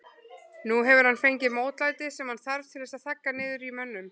Nú hefur hann fengið mótlætið sem hann þarf til þess að þagga niður í mönnum.